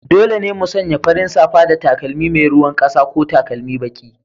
Dole ne mu sanya farin safa da takalmi mai ruwan ƙasa ko takalmi baki.